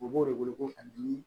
U b'o de wele ko a dimi